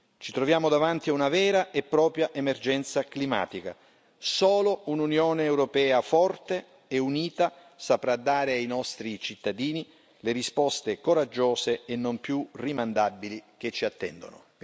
Ci troviamo davanti a una vera e propria emergenza climatica solo un'Unione europea forte e unita saprà dare ai nostri cittadini le risposte coraggiose e non più rimandabili che ci attendono.